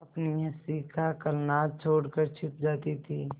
अपनी हँसी का कलनाद छोड़कर छिप जाती थीं